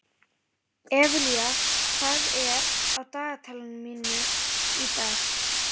Evelía, hvað er á dagatalinu mínu í dag?